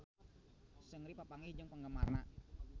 Seungri papanggih jeung penggemarna